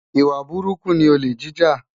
Iwá búrúkú ni ólé jijá